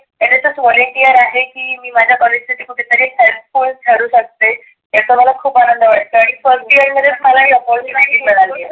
N S S volunteer आहे की मी माझ्या कॉलेज झाडुन काढते. याचा मला खुप आनंद वाटतो आणि first year मलाही opportunity मिळाली.